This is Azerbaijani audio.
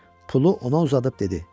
Pulu ona uzadıb dedi: